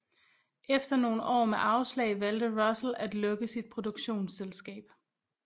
Efter nogen år med afslag valgte Russell at lukke sit produktionsselskab